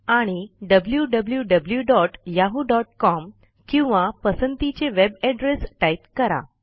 आणि wwwyahoocom किंवा पसंतीचे वेब एड्रेस टाईप करा